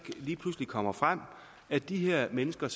lige pludselig kommer frem at de her mennesker